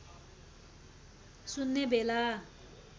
सुन्ने बेला